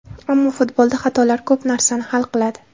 Ammo futbolda xatolar ko‘p narsani hal qiladi”.